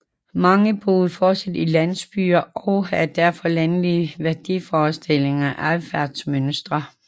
Mange boede fortsat i landsbyer og havde derfor landlige værdiforestillinger og adfærdsmønstre